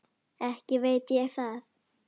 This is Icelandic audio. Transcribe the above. Ekki veit ég það.